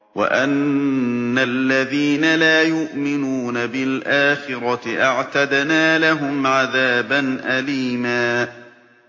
وَأَنَّ الَّذِينَ لَا يُؤْمِنُونَ بِالْآخِرَةِ أَعْتَدْنَا لَهُمْ عَذَابًا أَلِيمًا